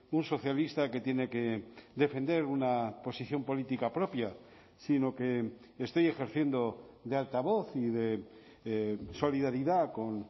un socialista que tiene que defender una posición política propia sino que estoy ejerciendo de altavoz y de solidaridad con